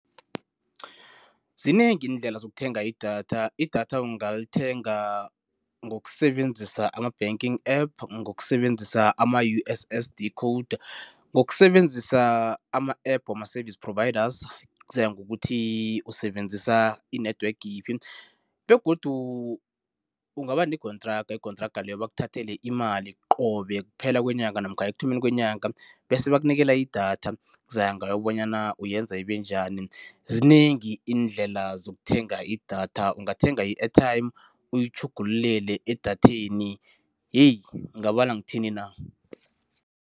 Zinengi iindlela zokuthenga idatha. Idatha ungalithenga ngokusebenzisa ama-banking App, ngokusebenzisa ama-U_S_S_D code, ngokusebenzisa ama-App wama-service providers, kuzaya ngokuthi usebenzisa i-network yiphi begodu ungaba nekontraga. Ikontraga leyo bakuthathele imali qobe kuphela kwenyanga namkha ekuthomeni kwenyanga bese bakunikela idatha, kuzaya ngawe bonyana uyenza ibenjani. Zinengi iindlela zokuthenga idatha, ungathenga i-airtime uyitjhugululele edatheni heyi ngingabala ngithini na.